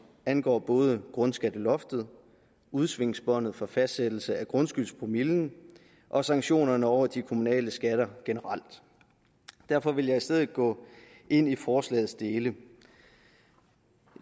angår både grundskatteloftet udsvingsbåndet for fastsættelse af grundskyldspromillen og sanktionerne over de kommunale skatter generelt derfor vil jeg i stedet gå ind i forslagets dele